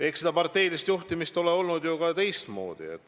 Eks parteilist juhtimist ole olnud ka teistmoodi.